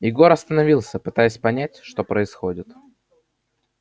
егор остановился пытаясь понять что происходит